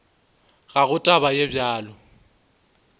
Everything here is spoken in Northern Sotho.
ga go taba ye bjalo